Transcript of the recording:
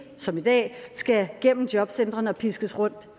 som i dag skal igennem jobcentrene og piskes rundt